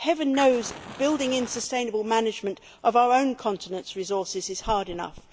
Heaven knows, building in sustainable management of our own continent's resources is hard enough.